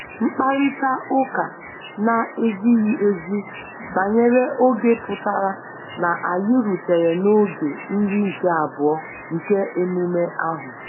Mkparịta ụka na-ezighi ezi banyere oge pụtara na anyị rutere n'oge nri nke abụọ nke emume ahụ